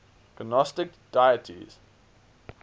gnostic deities